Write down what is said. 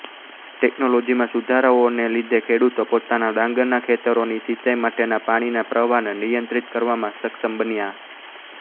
ટેકનોલોજીમાં સુધારાઓને લીધે ખેડૂતો પોતાનાં ડાંગરના ખેતરોની સિંચાઈ માટેના પાણીના પ્રવાહને નિયંત્રિત કરવામાં સક્ષમ બન્યાં